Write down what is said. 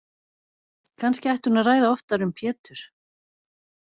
Kannski ætti hún að ræða oftar um Pétur.